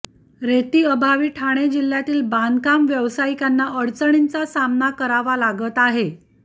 रेतीअभावी ठाणे जिल्ह्यातील बांधकाम व्यवसायिकांना अडचणींचा सामना करावा लागत आहे